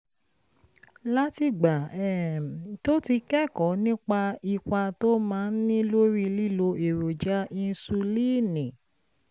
látìgbà um tó ti kẹ́kọ̀ọ́ nípa ipa tó máa ń ní lórí lílo èròjà insulíìnì